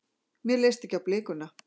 Mér leist ekki á blikuna.